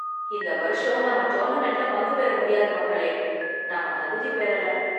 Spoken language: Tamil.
இந்த வருஷம் நாம டோர்னமென்ட்ல பங்கு பெற முடியாது, மக்களே. நாம தகுதி பெறல.